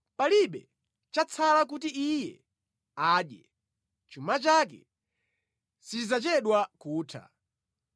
Palibe chatsala kuti iye adye; chuma chake sichidzachedwa kutha.